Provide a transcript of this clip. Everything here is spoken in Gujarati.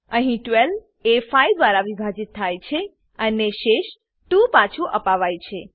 અહીં 12 એ 5 દ્વારા વિભાજીત થાય છે અને શેષ 2 ને પાછું અપાવાય છે